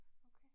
Okay